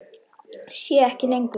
Sé ekki lengur.